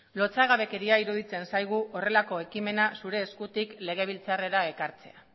lotsagabekeria iruditzen zaigu horrelako ekimena zure eskutik legebiltzarrera ekartzea